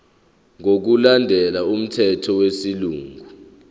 ngokulandela umthetho wesilungu